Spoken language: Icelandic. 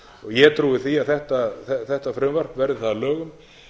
ég trúi því að þetta frumvarpi verði það að lögum